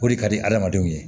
O de ka di adamadenw ye